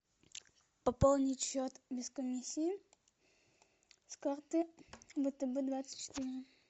пополнить счет без комиссии с карты втб двадцать четыре